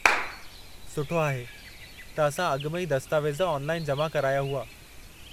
सुठो आहे त असां अॻु में ई दस्तावेज़ ऑनलाइन जमा कराया हुआ।